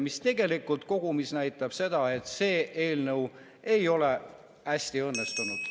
See tegelikult kogumis näitab seda, et see eelnõu ei ole hästi õnnestunud.